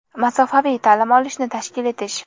masofaviy) ta’lim olishni tashkil etish;.